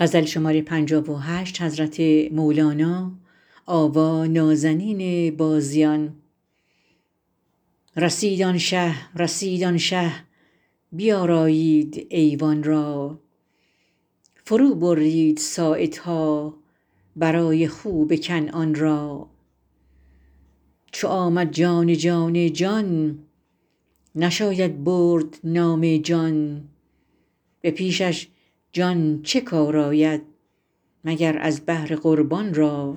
رسید آن شه رسید آن شه بیارایید ایوان را فروبرید ساعدها برای خوب کنعان را چو آمد جان جان جان نشاید برد نام جان به پیشش جان چه کار آید مگر از بهر قربان را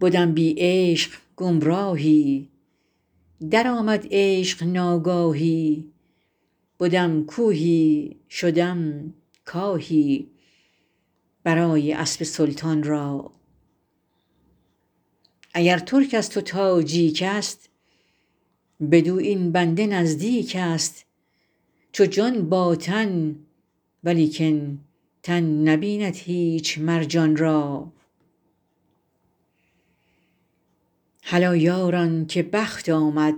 بدم بی عشق گمراهی درآمد عشق ناگاهی بدم کوهی شدم کاهی برای اسب سلطان را اگر ترکست و تاجیکست بدو این بنده نزدیکست چو جان با تن ولیکن تن نبیند هیچ مر جان را هلا یاران که بخت آمد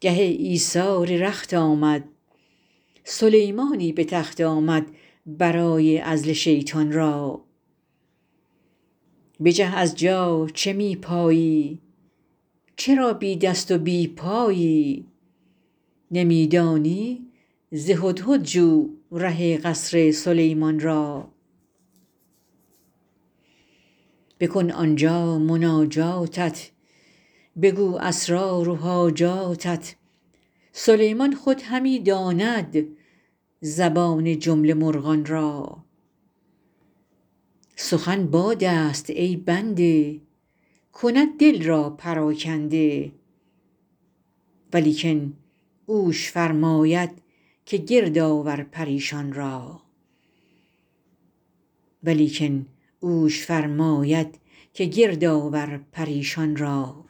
گه ایثار رخت آمد سلیمانی به تخت آمد برای عزل شیطان را بجه از جا چه می پایی چرا بی دست و بی پایی نمی دانی ز هدهد جو ره قصر سلیمان را بکن آن جا مناجاتت بگو اسرار و حاجاتت سلیمان خود همی داند زبان جمله مرغان را سخن بادست ای بنده کند دل را پراکنده ولیکن اوش فرماید که گرد آور پریشان را